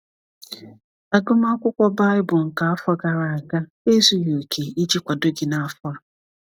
Agụmakwụkwọ Bible nke afọ gara aga ezughi oke iji kwado gị n’afọ a.